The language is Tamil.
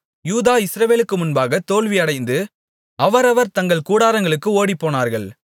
யூதா இஸ்ரவேலுக்கு முன்பாக தோல்வியடைந்து அவரவர் தங்கள் கூடாரங்களுக்கு ஓடிப்போனார்கள்